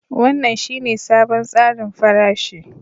Wannan shine sabon tsarin farashi